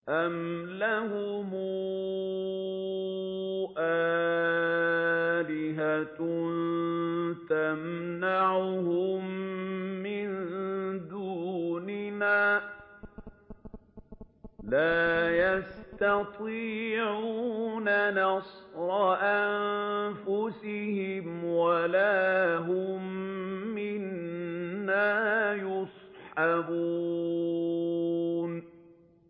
أَمْ لَهُمْ آلِهَةٌ تَمْنَعُهُم مِّن دُونِنَا ۚ لَا يَسْتَطِيعُونَ نَصْرَ أَنفُسِهِمْ وَلَا هُم مِّنَّا يُصْحَبُونَ